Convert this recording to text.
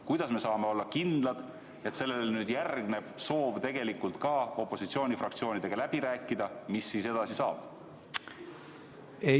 Kuidas me saame olla kindlad, et nüüd järgneb soov opositsioonifraktsioonidega läbi rääkida selles, mis edasi saab?